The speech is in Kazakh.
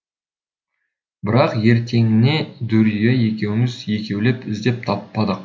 бірақ ертеңіне дүрия екеуміз екеулеп іздеп таппадық